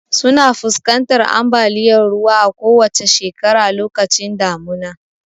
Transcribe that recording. Suna fuskantar ambaliyar ruwa a kowacce shekara lokacin damuna.